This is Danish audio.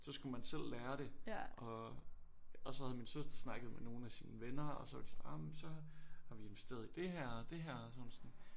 Så skulle man selv lære det og og så havde min søster snakket med nogle af sine venner og så var de sådan ej men så har vi investeret i det her og det her og så var hun sådan